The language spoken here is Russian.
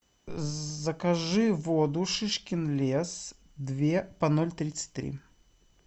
закажи воду шишкин лес две по ноль тридцать три